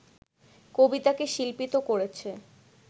কবিতাকে শিল্পিত করেছে